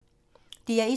DR1